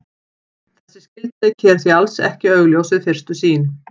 Þessi skyldleiki er því alls ekki augljós við fyrstu sýn.